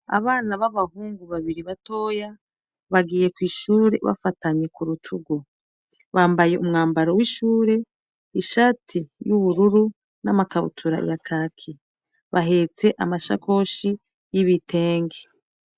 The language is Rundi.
Abana b'abahungu babiri batoya bagiye kw'ishure bafatanye kurutugu, Bambaye umwambaro w'ishure ishati y''ubururu, n'amakabutura ya kaki. bahetse amashakoshi y'ibitenge.